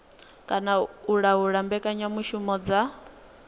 kana u laula mbekanyamushumo dza